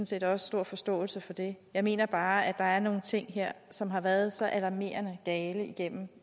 set også stor forståelse for det jeg mener bare at der er nogle ting her som har været så alarmerende gale igennem